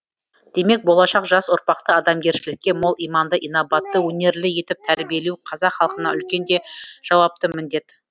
демек болашақ жас ұрпақты адамгершілікке мол иманды инабатты өнерлі етіп тәрбиелеу қазақ халқына үлкен де жауапты міндет